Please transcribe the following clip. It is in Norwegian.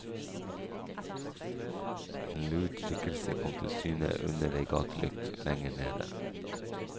En lut skikkelse kom til syne under ei gatelykt lenger nede.